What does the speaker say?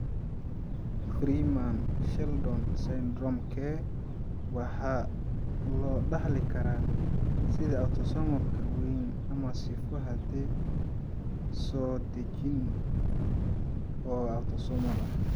Freeman Sheldon Syndromke waxaa loo dhaxli karaa sidii autosomal-ka weyn ama sifo hiddes-soo-dejineed oo autosomal ah.